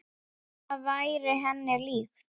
Það væri henni líkt.